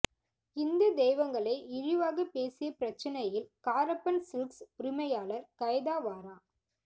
ஹிந்து தெய்வங்களை இழிவாக பேசிய பிரச்சினையில் காரப்பன் சில்க்ஸ் உரிமையார் கைதாவாரா